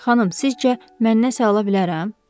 Xanım, sizcə, mən nə sağı ola bilərəm?